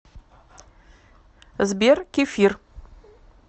сбер кефир